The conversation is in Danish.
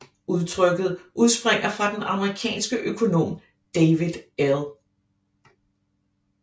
Udtrykket udspringer fra den amerikanske Økonom David L